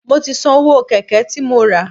Mo ti san owó Kẹ̀kẹ́ tí mo rà.